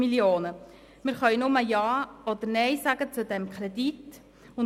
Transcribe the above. Wir können nur Ja oder Nein zu diesem Kredit sagen.